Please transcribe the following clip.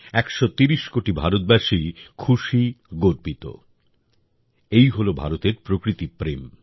একশো তিরিশ কোটি ভারতবাসী খুশী গর্বিত এই হল ভারতের প্রকৃতিপ্রেম